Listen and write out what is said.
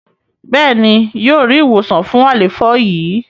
béèni yíò rí ìwòsàn fún àléfọ yi.